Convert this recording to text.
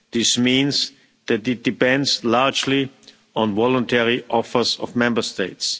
This means that it depends largely on voluntary offers from Member States.